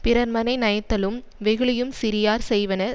பிறர்மனை நயத்தலும் வெகுளியும் சிறியார் செய்வன